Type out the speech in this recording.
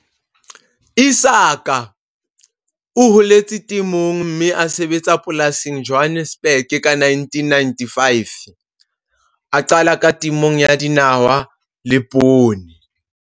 Isaac o holetse temong, mme a sebetsa polasing Johannesburg ka 1995, a qala ka temo ya dinawa le poone.